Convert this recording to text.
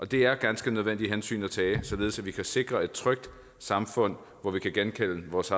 det er ganske nødvendige hensyn at tage således at vi kan sikre et trygt samfund hvor vi kan genkende vores